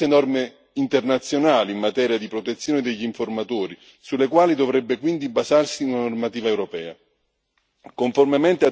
Sono state sviluppate numerose norme internazionali in materia di protezione degli informatori, sulle quali dovrebbe quindi basarsi una normativa europea.